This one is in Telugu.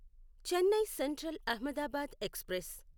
Chennai Central Ahmedabad express